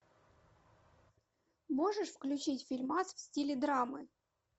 можешь включить фильмас в стиле драмы